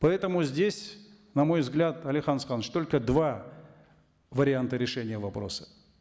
поэтому здесь на мой взгляд алихан асханович только два варианта решения вопроса